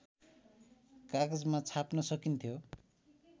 कागजमा छाप्न सकिन्थ्यो